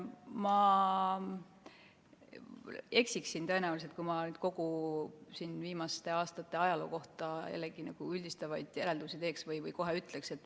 Ma tõenäoliselt eksiksin, kui ma nüüd siin kogu viimaste aastate ajaloo kohta üldistavaid järeldusi teeks või kohe vastuse ütleks.